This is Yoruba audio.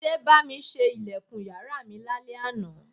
Túndé bá mi ṣe ilẹ̀kùn yàrá mi lálẹ́ àná